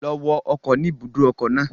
Lọ wọ ọkọ̀ ni ìbùdókọ̀ náà.